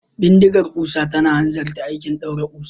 Bindigar kusa tana hanzarta aikin daure kusa.